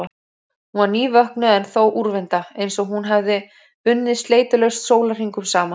Hún var nývöknuð en þó úrvinda, einsog hún hefði unnið sleitulaust sólarhringum saman.